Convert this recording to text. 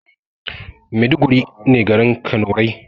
Maiduguri ne garin kanurai